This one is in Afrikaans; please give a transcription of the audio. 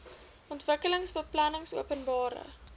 ontwikkelingsbeplanningopenbare